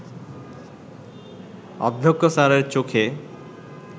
অধ্যক্ষ স্যারের চোখে